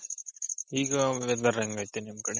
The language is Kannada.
ಈಗ weather ಹೆಂಗೈತೆ ನಿಮ್ ಕಡೆ